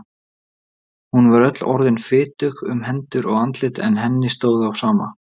Hún var öll orðin fitug um hendur og andlit en henni stóð á sama.